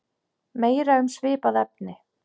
Meira um svipað efni